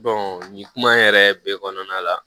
nin kuma in yɛrɛ bɛ kɔnɔna la